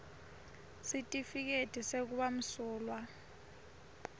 sitifiketi sekuba msulwa